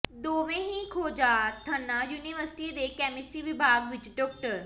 ਦੋਵਂੇ ਹੀ ਖੋਜਾਰਥਣਾਂ ਯੂਨੀਵਰਸਿਟੀ ਦੇ ਕੈਮਿਸਟਰੀ ਵਿਭਾਗ ਵਿੱਚ ਡਾ